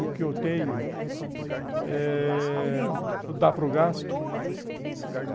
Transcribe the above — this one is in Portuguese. O que eu tenho dá para o gasto.